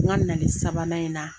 N ga nali sabanan in na